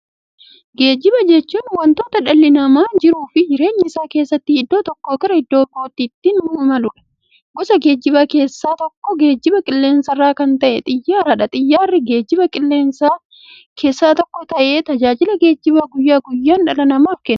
Geejjiba jechuun wanta dhalli namaa jiruuf jireenya isaa keessatti iddoo tokkoo gara iddoo birootti ittiin imaluudha. Gosa geejjibaa keessaa tokko geejjiba qilleensarraa kan ta'e Xiyyaaradha. Xiyyaarri geejjibaa qilleensarraa keessaa tokko ta'ee, tajaajila geejjibaa guyyaa guyyaan dhala namaaf kenna.